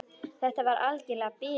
Þetta var alger bilun.